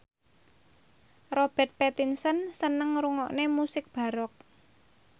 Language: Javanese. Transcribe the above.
Robert Pattinson seneng ngrungokne musik baroque